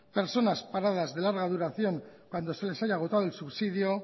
personas paradas de larga duración cuando se les haya agotado el subsidio